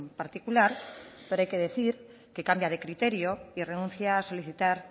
particular pero hay que decir que cambia de criterio y renuncia a solicitar